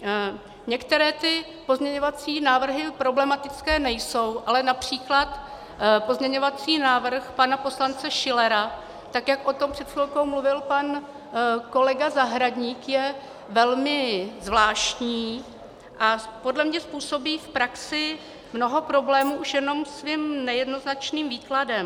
Některé ty pozměňovací návrhy problematické nejsou, ale například pozměňovací návrh pana poslance Schillera, tak jak o tom před chvilkou mluvil pan kolega Zahradník, je velmi zvláštní a podle mě způsobí v praxi mnoho problémů už jenom svým nejednoznačným výkladem.